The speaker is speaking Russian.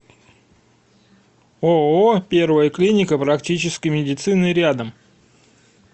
ооо первая клиника практической медицины рядом